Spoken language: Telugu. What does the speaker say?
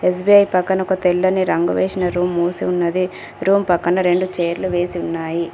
ఎస్_బి_ఐ పక్కన ఒక తెల్లని రంగు వేషిన రూమ్ మూసి ఉన్నది రూమ్ పక్కన రెండు చైర్లు వేసి ఉన్నాయి.